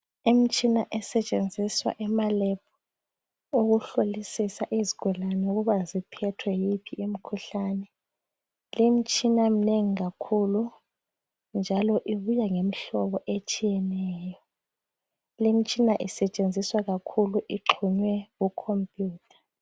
Imtshina esetshenziswa emaLab. Ukuhlolisisa izigulane ukuba ziphethe yiphi imikhuhlane. Limitshina iminengi kakhulu, njalo ibuya ngemhlobo etshiyeneyo. Limtshina isetshenziswa kakhulu, ixhunywe kucomputer.